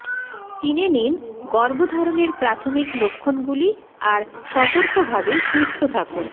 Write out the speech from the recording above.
চিনে নিন গর্ভধারণের প্রাথমিক লক্ষণগুলি আর সতর্ক ভাবে সুস্থ থাকুন